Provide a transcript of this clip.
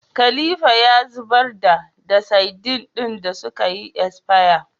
Khalifa ya zubar da da sadin din da sukayi asfaya